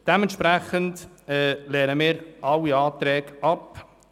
Dementsprechend lehnen wir alle Anträge ab.